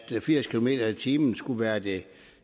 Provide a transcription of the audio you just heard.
firs kilometer per time skulle være det